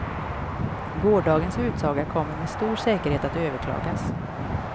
Gårdagens utsaga kommer med stor säkerhet att överklagas.